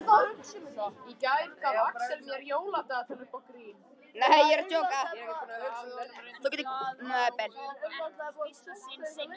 Þú getur aldrei gleymt því sem þér var kennt áður en þú varðst sex ára.